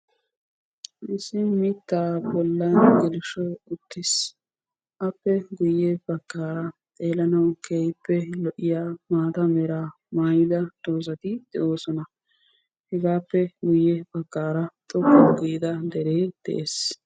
Issi mitta bollan geleshshoy uttis. Appe matan maatta meraa maayidda lo'iya doozzatti de'osonna.